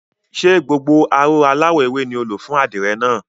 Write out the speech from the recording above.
Ṣé gbogbo aró aláwọ̀ ewé náà ni o lò fún àdìrẹ náà?